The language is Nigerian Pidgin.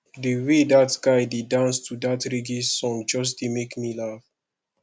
the way dat guy dey dance to dat reggae song just dey make me laugh